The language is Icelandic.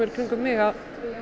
kringum mig að